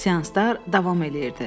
Seanslar davam eləyirdi.